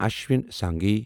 Ashwini Singhi